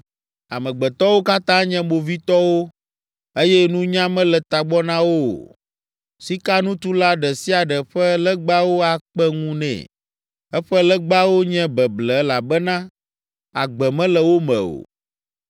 Amegbetɔwo katã nye movitɔwo eye nunya mele tagbɔ na wo o. Sikanutula ɖe sia ɖe ƒe legbawo akpe ŋu nɛ. Eƒe legbawo nye beble elabena agbe mele wo me o.